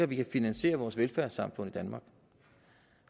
vi kan finansiere vores velfærdssamfund i danmark